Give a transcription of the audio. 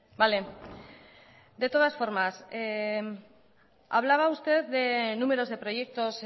vale de todas formas hablaba usted de números de proyectos